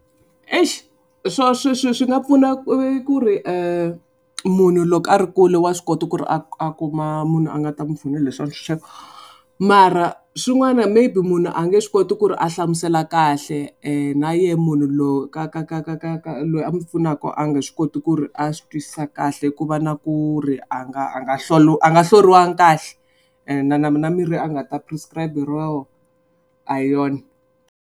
Eish, swi nga pfuna u ku ri munhu loko ri kule wa swi kota ku ri a a kuma munhu a nga ta mu pfuna hi swa . Mara, swin'wana maybe munhu a nge swi koti ku ri a hlamusela kahle na yehe munhu loyi ka ka ka loyi a mu pfunaka a nge swi koti ku ri a swi twisisa kahle ku va na ku ri a nga a nga a nga hloriwangi kahle. Ene na na mirhi a nga ta prescribe-iwa yoho a hi yona.